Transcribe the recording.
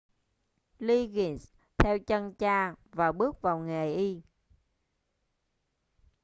liggins theo chân cha và bước vào nghề y